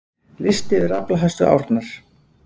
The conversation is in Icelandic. Listi yfir aflahæstu árnar